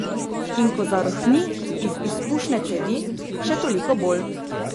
In ko zarohni iz izpušne cevi, še toliko bolj.